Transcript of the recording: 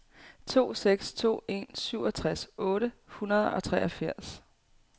to seks to en syvogtres otte hundrede og treogfirs